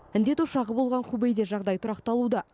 індет ошағы болған хубэйде жағдай тұрақталуда